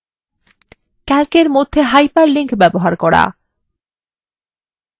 calc এর মধ্যে hyperlinks ব্যবহার করা